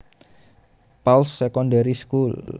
Pauls Secondary School